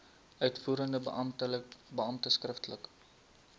uitvoerende beampte skriftelik